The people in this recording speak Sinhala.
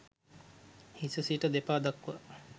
හිස සිට දෙපා දක්වා